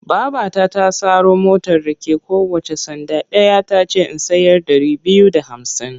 Babata ta saro motar rake kowacce sanda ɗaya ta ce in sayar ɗari biyu da hamsin.